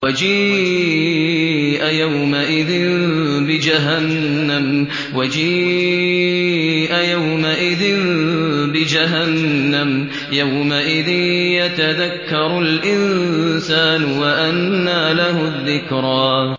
وَجِيءَ يَوْمَئِذٍ بِجَهَنَّمَ ۚ يَوْمَئِذٍ يَتَذَكَّرُ الْإِنسَانُ وَأَنَّىٰ لَهُ الذِّكْرَىٰ